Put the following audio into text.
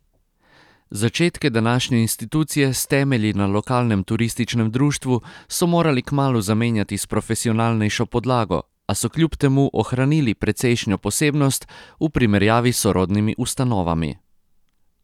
Začetke današnje institucije s temelji na lokalnem turističnem društvu so morali kmalu zamenjati s profesionalnejšo podlago, a so kljub temu ohranili precejšnjo posebnost v primerjavi s sorodnimi ustanovami.